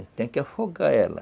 tem que afogar ela.